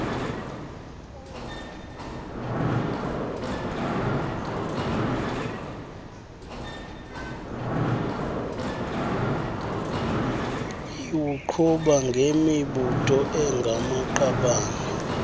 iwuqhuba ngemibutho engamaqabane